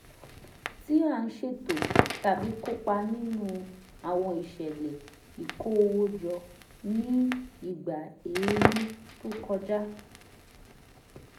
tí a ń ṣètò tàbí kópa nínú àwọn ìṣẹ̀lẹ̀ ìkó owó jọ ní ìgbà ẹ̀ẹ̀rùn tó kọjá